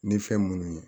Ni fɛn munnu ye